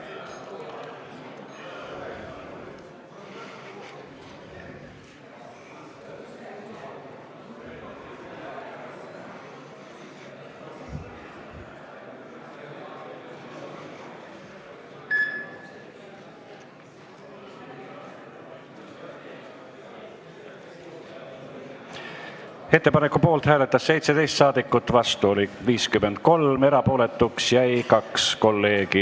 Hääletustulemused Ettepaneku poolt hääletas 17 ja vastu oli 53 saadikut, erapooletuks jäi 2 kolleegi.